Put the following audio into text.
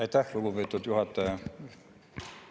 Aitäh, lugupeetud juhataja!